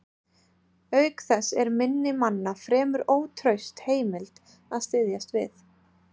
Auk þess er minni manna fremur ótraust heimild að styðjast við.